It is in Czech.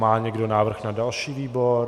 Má někdo návrh na další výbor?